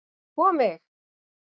sko mig!